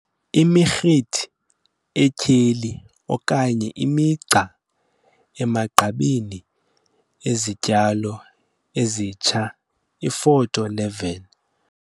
Imirhithi etyheli okanye imigca emagqabini ezityalo ezitsha, iFoto 11.